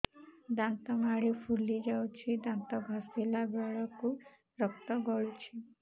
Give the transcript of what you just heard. ଦାନ୍ତ ମାଢ଼ୀ ଫୁଲି ଯାଉଛି ଦାନ୍ତ ଘଷିଲା ବେଳକୁ ରକ୍ତ ଗଳୁଛି